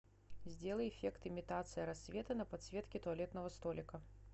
сделай эффект имитация рассвета на подсветке туалетного столика